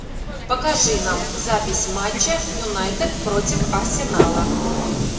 покажи нам запись матча юнайтед против арсенала